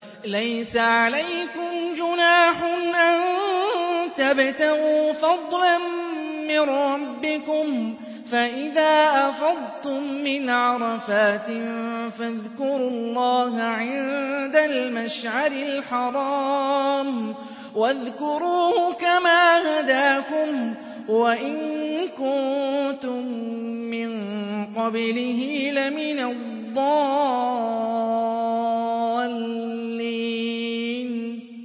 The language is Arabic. لَيْسَ عَلَيْكُمْ جُنَاحٌ أَن تَبْتَغُوا فَضْلًا مِّن رَّبِّكُمْ ۚ فَإِذَا أَفَضْتُم مِّنْ عَرَفَاتٍ فَاذْكُرُوا اللَّهَ عِندَ الْمَشْعَرِ الْحَرَامِ ۖ وَاذْكُرُوهُ كَمَا هَدَاكُمْ وَإِن كُنتُم مِّن قَبْلِهِ لَمِنَ الضَّالِّينَ